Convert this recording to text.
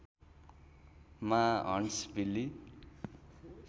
मा हन्ट्सभिल्ली